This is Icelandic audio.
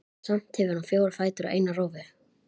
Samt hefur hann fjóra fætur og eina rófu.